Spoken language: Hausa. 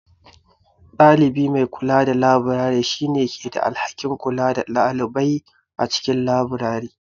Ɗalibi mai kula da labirari, shi ne ke da alhakin kula da ɗalibai a cikin labirari.